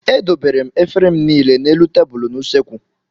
Edobere m efere m niile n'elu tebụlụ n'usekwu.